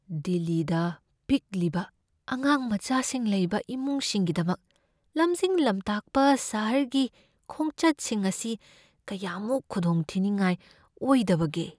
ꯗꯤꯜꯂꯤꯗ ꯄꯤꯛꯂꯤꯕ ꯑꯉꯥꯡꯃꯆꯥꯁꯤꯡ ꯂꯩꯕ ꯏꯃꯨꯡꯁꯤꯡꯒꯤꯗꯃꯛ ꯂꯝꯖꯤꯡ ꯂꯝꯇꯥꯛꯄ ꯁꯍꯔꯒꯤ ꯈꯣꯡꯆꯠꯁꯤꯡ ꯑꯁꯤ ꯀꯌꯥꯃꯨꯛ ꯈꯨꯗꯣꯡꯊꯤꯗꯅꯤꯡꯉꯥꯏ ꯑꯣꯏꯗꯕꯒꯦ?